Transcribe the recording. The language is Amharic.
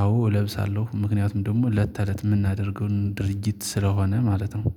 አዎ እለብሳለሁ ምክንያቱም ደግሞ ለተለት የምናደርገውን ድርጊት ስለሆነ ማለት ነው